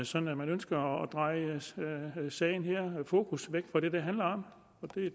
sådan at man ønsker at dreje fokus væk fra det det handler om og